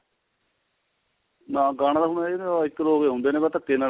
ਗਾਣਾ ਤਾਂ ਹੁਣ ਹੈ ਓ ਨੀ ਇੱਕ ਦੋ ਕੇ ਹੁੰਦੇ ਨੇ ਬਸ ਧੱਕੇ ਨਾਲ